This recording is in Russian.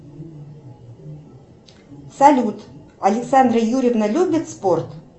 салют александра юрьевна любит спорт